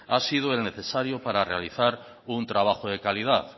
ha sido el necesario para realizar un trabajo de calidad